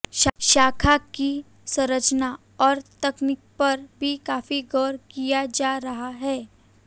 शाखा की संरचना और तकनीक पर भी काफी गौर किया जा रहा है